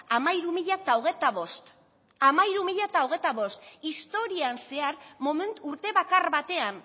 hamairu mila hogeita bost historian zehar urte bakar batean